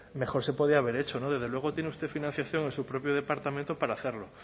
mejor se podía haber hecho desde luego tiene usted financiación en su propio departamento para hacerlo